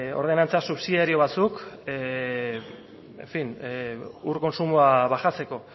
ordenantza subsidiario batzuk en fin ur kontsumoa baxatzeko